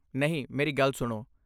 ਨਹੀਂ, ਮੇਰੀ ਗੱਲ ਸੁਣੋ।